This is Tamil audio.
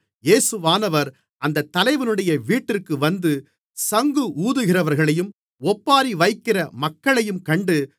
இயேசுவானவர் அந்தத் தலைவனுடைய வீட்டிற்கு வந்து சங்கு ஊதுகிறவர்களையும் ஒப்பாரி வைக்கிற மக்களையும் கண்டு